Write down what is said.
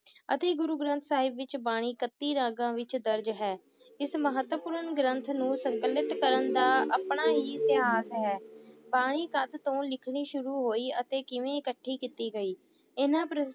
ਅਤੇ ਗੁਰੂ ਗ੍ਰੰਥ ਸਾਹਿਬ ਵਿਚ ਬਾਣੀ ਕੱਤੀ ਰਾਗਾਂ ਵਿਚ ਦਰਜ ਹੈ ਇਸ ਮਹੱਤਵਪੂਰਨ ਗ੍ਰੰਥ ਨੂੰ ਸੰਕਲਿਤ ਕਰਨ ਦਾ ਆਪਣਾ ਹੀ ਇਤਿਹਾਸ ਹੈ ਬਾਣੀ ਕਦ ਤੋਂ ਲਿਖਣੀ ਸ਼ੁਰੂ ਹੋਈ ਅਤੇ ਕਿਵੇਂ ਇਕੱਠੀ ਕੀਤੀ ਗਈ, ਇਹਨਾਂ ਪ੍ਰਸ਼~